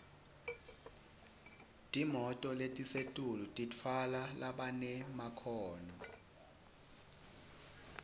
timoto letisetulu titfwala labanemakhono